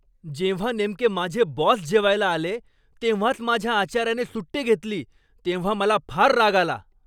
जेव्हा नेमके माझे बॉस जेवायला आले तेव्हाच माझ्या आचाऱ्याने सुट्टी घेतली तेव्हा मला फार राग आला.